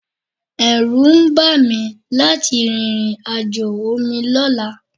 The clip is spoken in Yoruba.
Ẹ̀rù ń bà mí láti rìnrìn àjò omi lọ́la